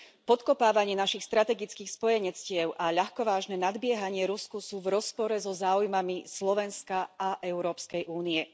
Podkopávanie našich strategických spojenectiev a ľahkovážne nadbiehanie Rusku sú v rozpore so záujmami Slovenska a Európskej únie.